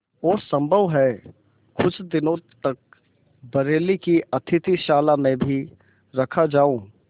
और सम्भव है कुछ दिनों तक बरेली की अतिथिशाला में भी रखा जाऊँ